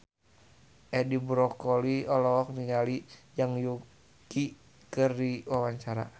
Edi Brokoli olohok ningali Zhang Yuqi keur diwawancara